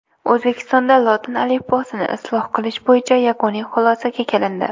O‘zbekistonda lotin alifbosini isloh qilish bo‘yicha yakuniy xulosaga kelindi.